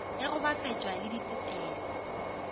ge go bapetšwa le ditetelo